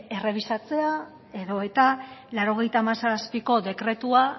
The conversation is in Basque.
errebisatzea edo eta laurogeita hamazazpiko dekretua